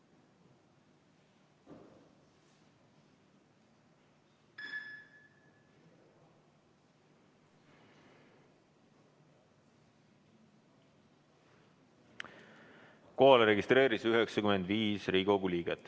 Kohalolijaks registreerus 95 Riigikogu liiget.